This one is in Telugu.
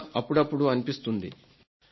ఇంకా అప్పుడప్పుడు అనిపిస్తుంది